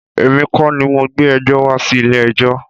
Èmi kọ́ ni mo gbé ẹjọ́ wá sí ilé ẹjọ́.